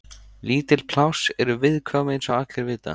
Lítil pláss eru viðkvæm eins og allir vita.